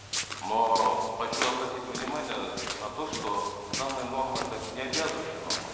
но хочу обратить внимание на то что данная норма это не обязывающая норма